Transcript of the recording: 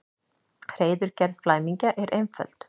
Hreiðurgerð flæmingja er einföld.